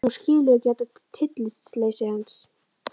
Hún skilur ekki þetta tillitsleysi hans.